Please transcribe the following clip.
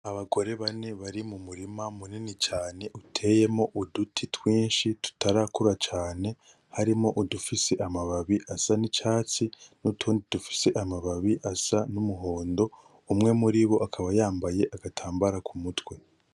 Abagore bane bari mu murima munini cane uteyemwo uduti twinshi tutarakura cane, harimwo udufise amababi asa n’icatsi n’utundi dufise amababi asa n’umuhondo umwe muri bo akaba yambaye agatambara ku mutwe.